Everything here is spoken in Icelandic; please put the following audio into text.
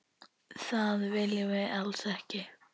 Það viljum við alls ekki.